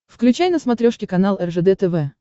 включай на смотрешке канал ржд тв